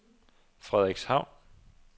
Frederikshavn